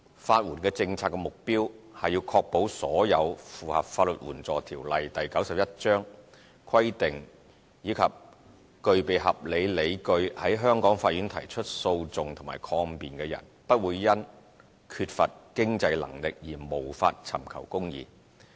法援政策的目標是確保所有符合《法律援助條例》規定及具備合理理據在香港法院提出訴訟或抗辯的人，不會因缺乏經濟能力而無法尋求公義。